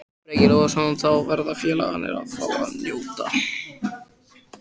Breki Logason: Þá verða félagarnir að fá að njóta?